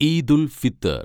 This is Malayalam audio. ഈദുൽ ഫിത്തർ